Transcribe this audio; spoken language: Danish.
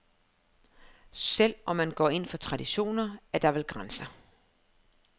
Selv om man går ind for traditioner, er der vel grænser.